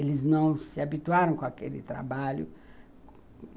Eles não se habituaram com aquele trabalho.